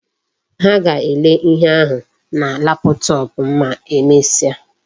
Ha ga-ele ihe ahu na laptop ma emesia